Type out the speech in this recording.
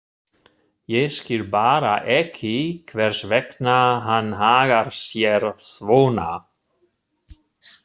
Ég skil bara ekki hvers vegna hann hagar sér svona.